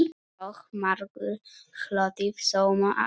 Og margur hlotið sóma af.